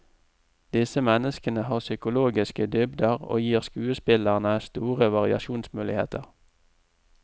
Disse menneskene har psykologiske dybder og gir skuespillerne store variasjonsmuligheter.